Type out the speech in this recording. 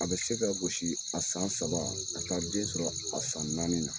A bɛ se ka gosi, a san saba, ka taa den sɔrɔ, a san naani na.